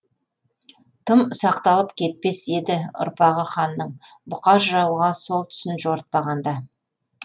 тым ұсақталып кетпес еді ұрпағы ханның бұқар жырауға сол түсін жорытпағанда